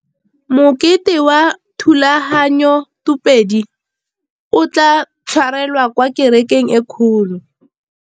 Mokete wa thulaganyôtumêdi o tla tshwarelwa kwa kerekeng e kgolo.